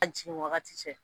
An jigi wagati cɛ